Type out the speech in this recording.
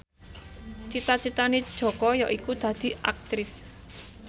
cita citane Jaka yaiku dadi Aktris